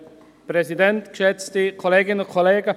Entschuldigen Sie.